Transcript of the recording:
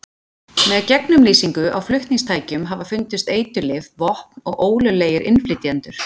Með gegnumlýsingu á flutningatækjum hafa fundist eiturlyf, vopn og ólöglegir innflytjendur.